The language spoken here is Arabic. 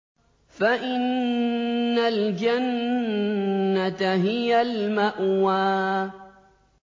فَإِنَّ الْجَنَّةَ هِيَ الْمَأْوَىٰ